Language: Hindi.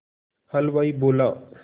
हलवाई बोला